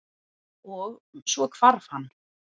Og- svo hvarf hann.